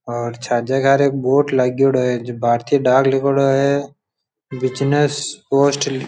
और छाजा घर एक बोर्ड लागेडा है जो भारतीय डाक लिखेड़ों है बिजनेस पोस्ट --